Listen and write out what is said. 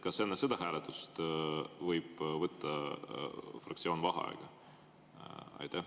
Kas enne seda hääletust võib fraktsioon vaheaja võtta?